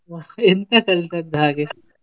ವಾಹ್ಹ್ ಎಂತ ಕಲಿತದ್ದ ಹಾಗೆ?